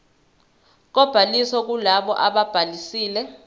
kobhaliso kulabo ababhalisile